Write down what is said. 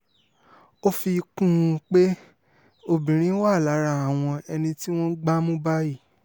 ó fi kún un pé obìnrin wà lára àwọn ẹni tí wọ́n gbá mú báyìí